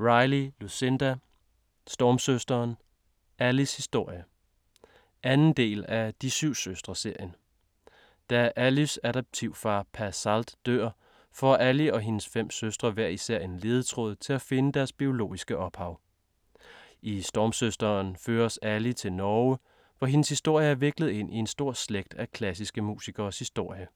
Riley, Lucinda: Stormsøsteren: Allys historie 2. del af De syv søstre-serien. Da Allys adoptivfar Pa Salt dør, får Ally og hendes fem søstre hver især en ledetråd til at finde deres biologiske ophav. I Stormsøsteren føres Ally til Norge, hvor hendes historie er viklet ind i en stor slægt af klassiske musikeres historie.